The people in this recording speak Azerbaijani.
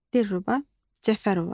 Dilruba Cəfərova.